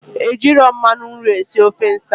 Ejirọ mmanụ nri esi ofe nsala